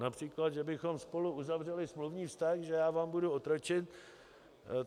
Například že bychom spolu uzavřeli smluvní vztah, že já vám budu otročit.